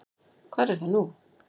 Hvar er það nú?